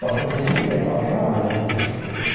Posso até vender, qualquer hora, né não sei.